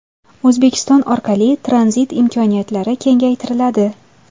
O‘zbekiston orqali tranzit imkoniyatlari kengaytiriladi.